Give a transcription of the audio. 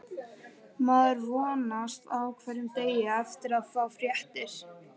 Maður vonast á hverjum degi eftir að fá fréttir.